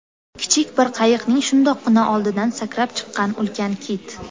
Kichik bir qayiqning shundoqqina oldidan sakrab chiqqan ulkan kit.